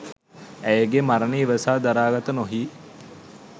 ඇයගේ මරණය ඉවසා දරාගත නොහී